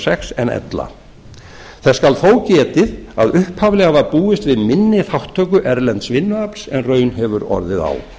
sex en ella þess skal þó getið að upphaflega var búist við minni þátttöku erlends vinnuafls en raun hefur orðið á